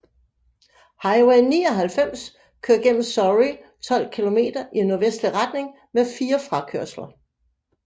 Highway 99 kører gennem Surrey 12 kilometer i nordvestlig retning med fire frakørsler